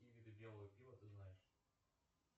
какие виды белого пива ты знаешь